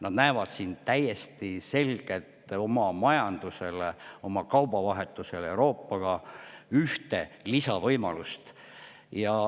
Nad näevad siin täiesti selgelt oma majandusele, oma kaubavahetusele Euroopaga ühte lisavõimalust.